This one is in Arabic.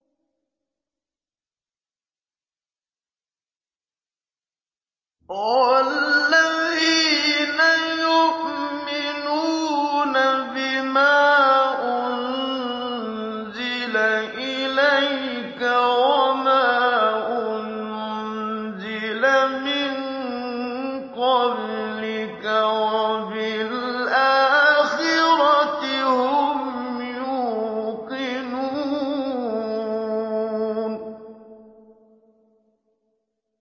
وَالَّذِينَ يُؤْمِنُونَ بِمَا أُنزِلَ إِلَيْكَ وَمَا أُنزِلَ مِن قَبْلِكَ وَبِالْآخِرَةِ هُمْ يُوقِنُونَ